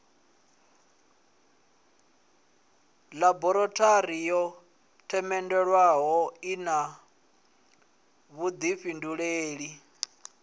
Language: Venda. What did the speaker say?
ḽaborathori yo themendelwaho ina vhuḓifhindulei